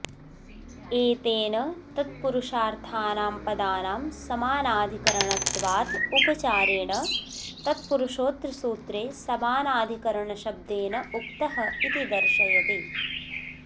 एतेन तत्पुरुषार्थानां पदानां समानाधिकरणत्वादुपचारेण तत्पुरुषोऽत्र सूत्रे समानाधिकरणशब्देनोक्त इति दर्शयति